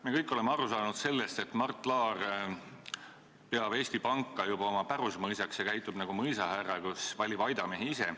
Me kõik oleme aru saanud, et Mart Laar peab Eesti Panka juba oma pärusmaaks ja lisaks käitub nagu mõisahärra, kes valib aidamehi ise.